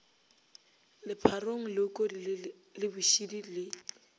lepharong leokodi le bošidi le